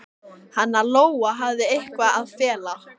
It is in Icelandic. Lóa: Hafið þið eitthvað að fela?